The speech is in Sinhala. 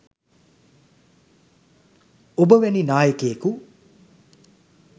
ඔබ වැනි නායකයෙකු